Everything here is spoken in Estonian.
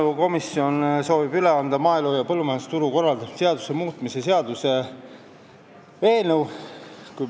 Maaelukomisjon soovib üle anda maaelu ja põllumajandusturu korraldamise seaduse muutmise seaduse eelnõu.